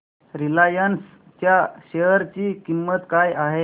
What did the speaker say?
Reliance च्या share ची किंमत काय आहे